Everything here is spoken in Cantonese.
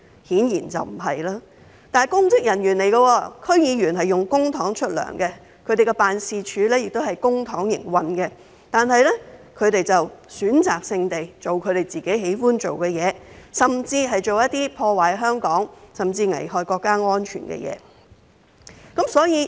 區議員是公職人員，並以公帑支薪，其辦事處亦是以公帑營運，但他們卻選擇性地做自己喜歡的事，做破壞香港甚至危害國家安全的事。